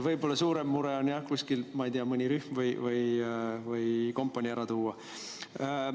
Võib-olla suurem mure on, kui kuskilt, ma ei tea, mõni rühm või kompanii on vaja ära tuua.